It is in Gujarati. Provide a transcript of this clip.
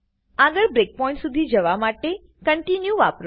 આગળ બ્રેકપોઈન્ટ્સ શુધી જવા માટે કોન્ટિન્યુ વાપરો